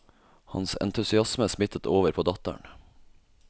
Hans entusiasme smittet over på datteren.